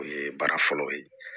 O ye baara fɔlɔ ye